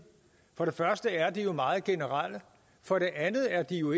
for det første er de jo meget generelle for det andet er de jo